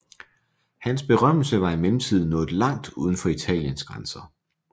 Hans berømmelse var i mellemtiden nået langt uden for Italiens grænser